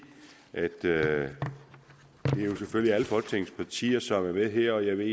at det jo selvfølgelig er alle folketingets partier som er med her og jeg ved